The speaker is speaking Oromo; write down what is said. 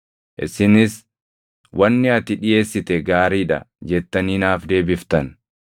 Isinis, “Wanni ati dhiʼeessite gaarii dha” jettanii naaf deebiftan.